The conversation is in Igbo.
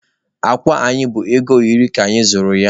Akwa anyị bụ ego iri ka anyị zụrụ ya.